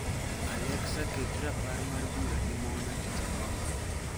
alexa ket rapar mar bura gi mona tich ariyo